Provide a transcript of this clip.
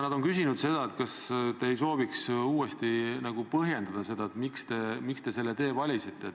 Nad on küsinud, kas te ei sooviks uuesti põhjendada seda, miks te selle tee valisite.